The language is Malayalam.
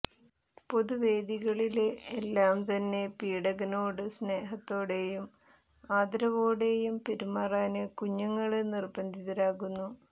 പൊതുവേദികളില് എല്ലാം തന്നെ പീഡകനോട് സ്നേഹത്തോടെയും ആദരവോടെയും പെരുമാറാന് കുഞ്ഞുങ്ങള് നിര്ബന്ധിതരാകുന്നു